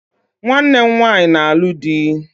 Nwanne m nwaanyị na-alụ di